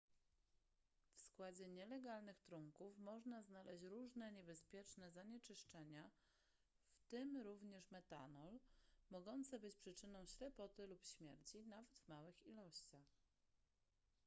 w składzie nielegalnych trunków można znaleźć różne niebezpieczne zanieczyszczenia w tym również metanol mogące być przyczyną ślepoty lub śmierci nawet w małych ilościach